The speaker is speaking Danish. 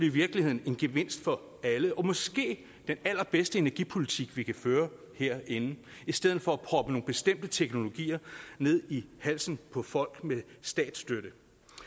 i virkeligheden en gevinst for alle og måske den allerbedste energipolitik vi kan føre herinde i stedet for at proppe nogle bestemte teknologier ned i halsen på folk med statsstøtte